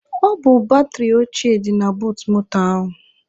Ọ bụ batịrị ochịe dị na buut moto ahụ.